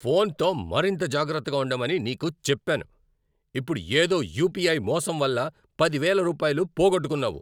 ఫోన్తో మరింత జాగ్రత్తగా ఉండమని నీకు చెప్పాను.ఇప్పుడు ఏదో యుపిఐ మోసం వల్ల పది వేల రూపాయలు పోగొట్టుకున్నావు.